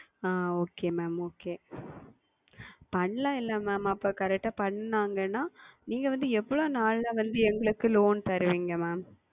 ஆஹ் Okay Mam okay செய்யலாம் அல்லவா Mam அப்பொழுது Correct செய்தார்கள் என்றால் நீங்கள் வந்து எவ்வளவு நாட்களில் எங்களுக்கு Loan தருவீர்கள் Mam